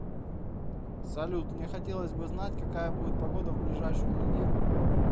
салют мне хотелось бы знать какая будет погода в ближайшую неделю